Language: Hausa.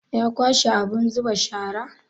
Ya kwashe abun zuba sharar?